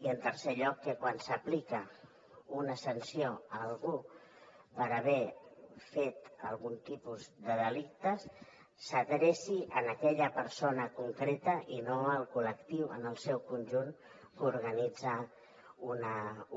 i en tercer lloc que quan s’aplica una sanció a algú per haver fet algun tipus de delicte s’adreci a aquella persona concreta i no al col·lectiu en el seu conjunt que organitza